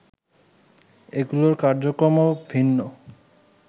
এগুলোর কার্যক্রমও ভিন্ন